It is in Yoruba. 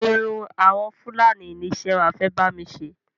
Irun àwọn Fúlàní ni Ṣẹwà fẹ́ bami ṣe.